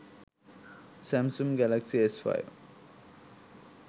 samsung galaxy s5